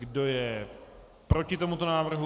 Kdo je proti tomuto návrhu?